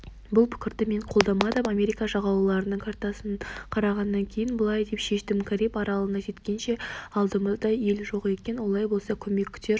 бұл пікірді мен қолдамадым америка жағалауларының картасын қарағаннан кейін былай деп шештім кариб аралына жеткенше алдымызда ел жоқ екен олай болса көмек күтер